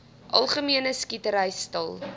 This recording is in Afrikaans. algemene skietery stil